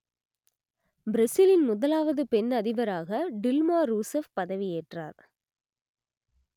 பிரேசிலின் முதலாவது பெண் அதிபராக டில்மா ரூசெப் பதவியேற்றார்